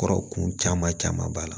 Kɔrɔ kun caman caman b'a la